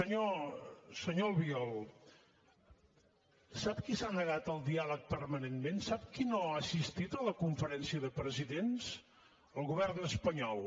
senyor albiol sap qui s’ha negat al diàleg permanentment sap qui no ha assistit a la conferència de presidents el govern espanyol